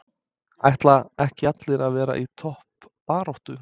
Ætla ekki allir að vera í toppbaráttu?